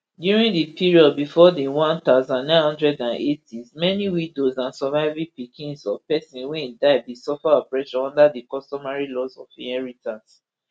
during di period bifor di one thousand, nine hundred and eightys many widows and surviving pickins of pesin wey die bin suffer oppression under di customary laws of inheritance